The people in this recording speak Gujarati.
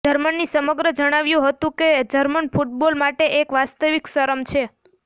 જર્મની સમગ્ર જણાવ્યું હતું કે જર્મન ફૂટબોલ માટે એક વાસ્તવિક શરમ છે